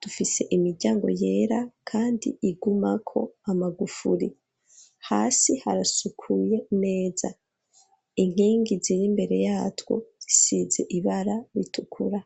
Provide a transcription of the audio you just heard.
dufise imiryango yera kandi igumako amagufuri, hasi harasukuye neza, inkingi ziri imbere yatwo zisize ibara ritukura.